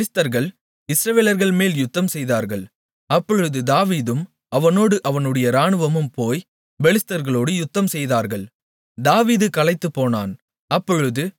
பின்பு பெலிஸ்தர்கள் இஸ்ரவேலர்கள்மேல் யுத்தம்செய்தார்கள் அப்பொழுது தாவீதும் அவனோடு அவனுடைய இராணுவமும் போய் பெலிஸ்தர்களோடு யுத்தம்செய்தார்கள் தாவீது களைத்துப்போனான்